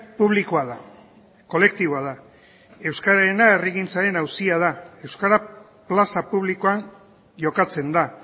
publikoa da kolektiboa da euskararena herrigintzaren auzia da euskara plaza publikoan jokatzen da